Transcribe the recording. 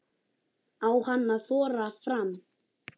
Á hann að þora fram?